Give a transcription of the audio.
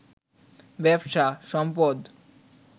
ব্যবসা, সম্পদ